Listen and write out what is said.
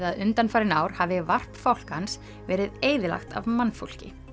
að undanfarin ár hafi varp fálkans verið eyðilagt af mannfólki